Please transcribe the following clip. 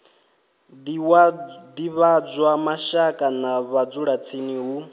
divhadzwa mashaka na vhadzulatsini hu